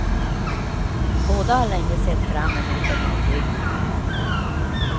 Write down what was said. Båda har länge sett fram emot en ombyggnad.